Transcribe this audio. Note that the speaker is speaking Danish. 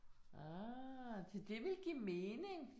Ah, de det vil give mening